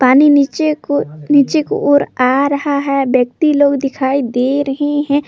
नीचे को नीचे को ओर आ रहा है व्यक्ति लोग दिखाई दे रहे हैं।